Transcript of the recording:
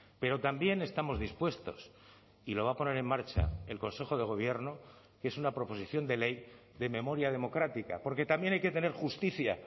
pero también estamos dispuestos y lo va a poner en marcha el consejo de gobierno que es una proposición de ley de memoria democrática porque también hay que tener justicia